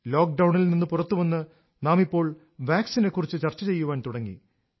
ലോക്ക്ഡൌണിൽ നിന്ന് പുറത്തുവന്ന് നാം ഇപ്പോൾ വാക്സിനെ കുറിച്ച് ചർച്ചചെയ്യാൻ തുടങ്ങി